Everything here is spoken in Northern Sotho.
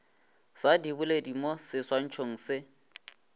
sa diboledi mo seswantšhong se